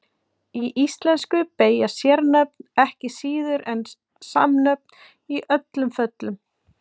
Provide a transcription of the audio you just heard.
Í íslensku beygjast sérnöfn ekki síður en samnöfn í öllum föllum.